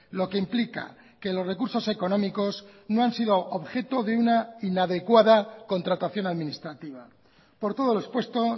lo que implica que los recursos económicos no han sido objeto de una inadecuada contratación administrativa por todo lo expuesto